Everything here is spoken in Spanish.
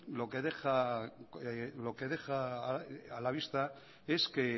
lo que deja a la vista es que